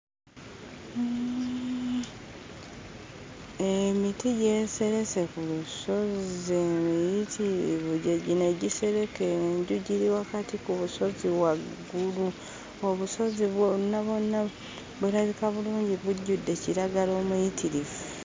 Emiti gyeserese ku lusozi emiyitirivu, gye gino egisereka enju. Giri wakati ku busozi waggulu. Obusozi bwonna bwonna bulabika bulungi, bujjudde kiraga omuyitirivu.